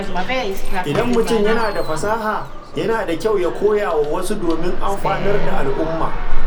Idan mutum yana da fasaha, yana da kyau ya koya wa wasu domin amfanar da al’umma.